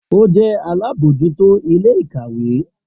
O jẹ alabojuto ile-ikawe